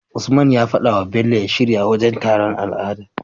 Usman ya fadawa bello ya shirya wajan taron al'ada